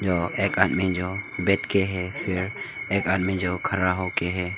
एक आदमी जो बैठ के है फिर एक आदमी जो खड़ा होके है।